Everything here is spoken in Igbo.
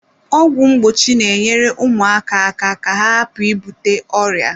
Ọgwụ mgbochi na-enyere ụmụaka aka ka ha hapụ ibute ọrịa.